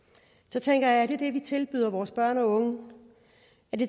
så tænker jeg er det det vi tilbyder vores børn og unge